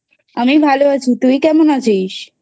আমি ভালো আছি তুই কেমন আছিস?